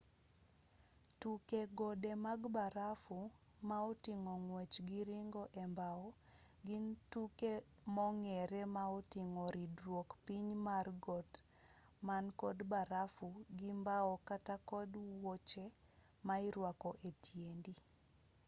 tuke gode mag barafu ma oting'o ng'wech gi ringo e mbao gin tuke mong'ere ma oting'o ridruok piny mar got man kod barafu gi mbao kata kod wuoche ma irwako e tiendi